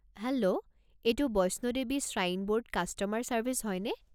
Hello! এইটো Vaishno Devi shrine board customer service হয়নে?